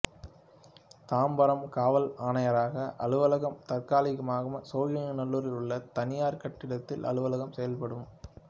தாம்பரம் காவல் ஆணையரக அலுவலகம் தற்காலிகமாக சோழிங்கநல்லூரில் உள்ள தனியார் கட்டிடத்தில் அலுவலகம் செயல்படும்